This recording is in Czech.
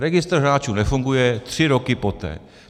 Registr hráčů nefunguje tři roky poté.